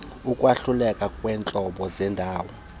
ukwahlukana kweentlobo zendalo